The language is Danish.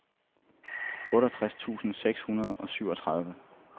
otteogtres tusind seks hundrede og syvogtredive